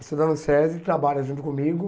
Estuda no SESI, trabalha junto comigo.